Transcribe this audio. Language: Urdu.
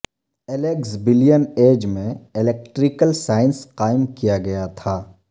الیگزبلین ایج میں الیکٹریکل سائنس قائم کیا گیا تھا